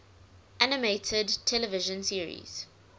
animated television series